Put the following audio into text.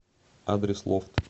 адрес лофт